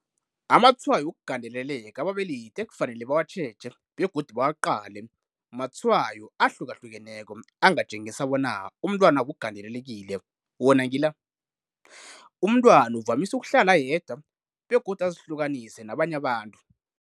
Amatshwayo Wokugandeleleka Ababelethi kufanele batjheje begodu baqale amatshwayo ahlukahlukeneko angatjengisa bona umntwanabo ugandelelekile. Wona ngila- Umntwana uvamisa ukuhlala ayedwa begodu azihlukanise nabanye abantu.